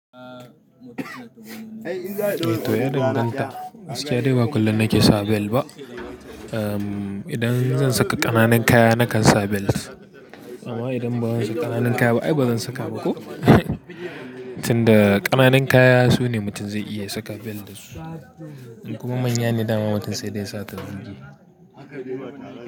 To ya danganta, gaskiya dai ba kullum nake sa bel ba. Idan zan saka ƙananan kaya na kan sa bel, amma idan ba zan saka ƙananan kaya ba ai bazan saka ba ko. Tun da ƙananan kaya sune mutum zai iya saka bel dasu. In Kuma manya ne dama mutum sai dai ya sa ta zuge.